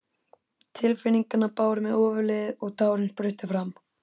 Tilfinningarnar báru mig ofurliði og tárin spruttu fram.